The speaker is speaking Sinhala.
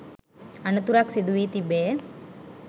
අනතුරක් සිදුවී තිබේ.